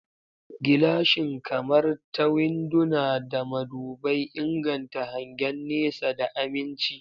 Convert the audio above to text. Gilashin, kamar ta winduna da madubai, inganta hangen nesa da aminci.